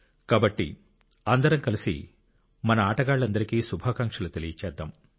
కాబట్టి అందరం కలిసి మన ఆటగాళ్లందరికీ శుభాకాంక్షలు తెలియజేద్దాం